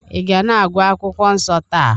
ị ga na-agụ akwụkwọ nsọ taa?